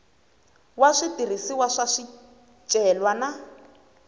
wa switirhisiwa swa swicelwa na